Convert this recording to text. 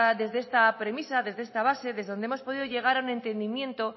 desde esta premisa desde esta base desde donde hemos podido llegar a un entendimiento